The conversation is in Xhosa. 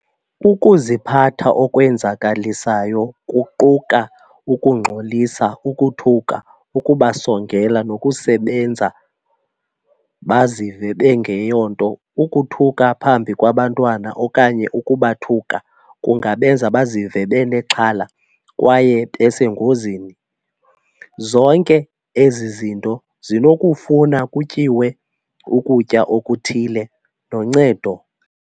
Ukuziphatha okwenzakalisayo kuquka ukungxolisa, ukuthuka, ukubasongela nokusebenza bazive benge yonto. Ukuthuka phambi kwabantwana okanye ukubathuka kungabenza bazive benexhala kwaye besengozini. Zonke ezi zinto zinokufuna kutyiwe ukutya okuthile noncedo.